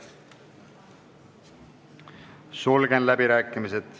Sulgen läbirääkimised.